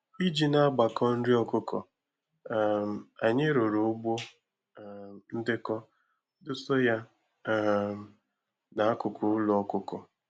Iji na-agbakọ nri ọkụkọ, um anyị rụrụ ugbo um ndekọ dosa ya um n'akụkụ ụlọ ọkụkọ